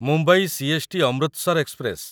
Mumbai CST. Amritsar express